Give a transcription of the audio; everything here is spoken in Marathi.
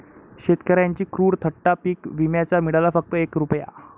शेतकऱ्यांची क्रूर थट्टा, पीक विम्याचा मिळाला फक्त एक रूपया